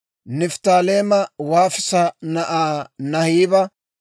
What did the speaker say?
Nifttaaleema Waafisa na'aa Naahiba;